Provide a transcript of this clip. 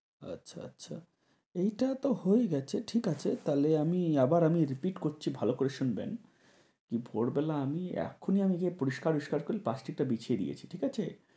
আচ্ছা আচ্ছা এইটা তো হয়ে গেছে ঠিক আছে তাহলে আমি আবার আমি repeat করছি ভালো করে শুনবেন। ভোরবেলা আমি এখনই আমি পরিষ্কার টরিষ্কার করে প্লাস্টিক টা বিছিয়ে দিয়েছি ঠিক আছে।